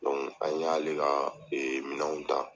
an y'ale ka ee minanw ta.